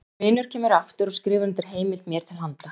Minn vinur kemur aftur og skrifar undir heimild mér til handa.